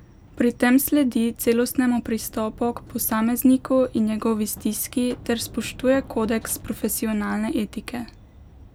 Pri tem sledi celostnemu pristopu k posamezniku in njegovi stiski ter spoštuje kodeks profesionalne etike.